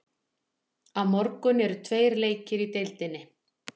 Á morgun eru tveir leikir í deildinni.